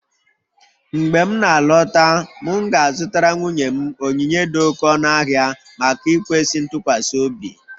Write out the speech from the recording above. Mgbe m na-alọta, m ga-azụtara nwunye m onyinye dị oké ọnụ ahịa maka ikwesị ntụkwasị obi